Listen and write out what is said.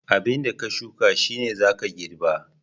15. Abinda ka shuka shine zaka girba.